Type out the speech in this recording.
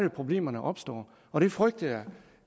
at problemerne opstår og det frygter jeg